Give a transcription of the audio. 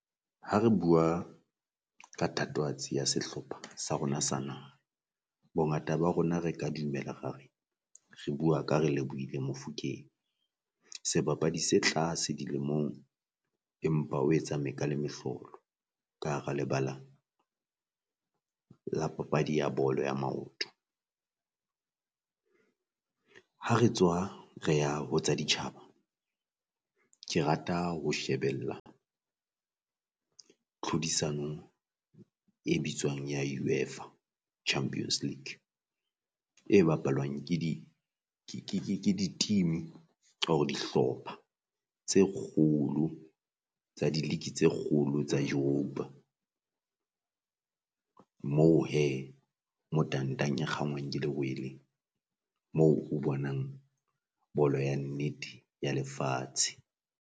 Ha re bua ka thatohatsi ya sehlopha sa rona sa naha, bongata ba rona re ka dumela ra re bua ka Relebohile Mofokeng sebapadi se tlase di lemong, empa o etsa meka le mehlolo ka hara lebala la papadi ya bolo ya maoto. Ha re tswa re ya ho tsa ditjhaba ke rata ho shebella tlhodisano e bitswang ya UEFA Champions League, e bapalwang ke di ke di team or-re dihlopha tse kgolo tsa di league tse kgolo tsa europe-a. Moo hee mo tangtang e kgangwang ke lerwele moo o bonang bolo ya nnete ya lefatshe.